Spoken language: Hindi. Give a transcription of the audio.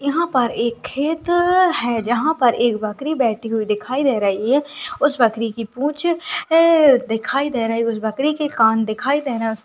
यहाँ पर एक खेत है जहाँ पर एक बकरी बेठी हुई दिखाई दे रही है उस बकरी की पुंछ एए दिखाई दे रही है उस बकरी के कान दिखाई दे रहें हैं।